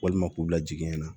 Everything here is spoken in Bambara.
Walima k'u bila jiginɛ na